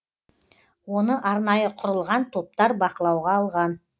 оны арнайы құрылған топтар бақылауға алған